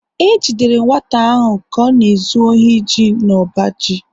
E jidere nwata ahụ ka ọ na-ezu ohi ji n’ọba ji